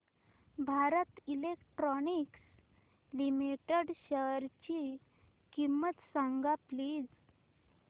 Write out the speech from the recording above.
Bharat Electronics Limited शेअरची किंमत सांगा प्लीज